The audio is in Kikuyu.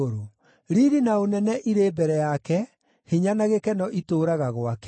Riiri na ũnene irĩ mbere yake; hinya na gĩkeno itũũraga gwake.